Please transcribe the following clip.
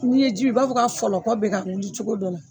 N'i ye ji ye i b'a fɔ k'a fɔlɔkɔ bɛ ka wuli cogo dɔ la.